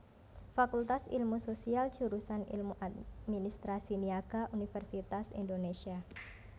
Fakultas Ilmu Sosial Jurusan Ilmu Administrasi Niaga Universitas Indonésia